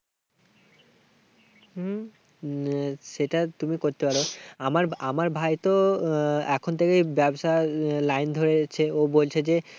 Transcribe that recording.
হম সেটা তুমি করতে পারো। আমার আমার ভাই তো এখন থেকে ব্যবসার লাইন ধরিয়েচ্ছে। ও বলছে যে